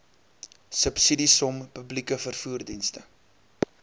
subsidiesom publieke vervoerdienste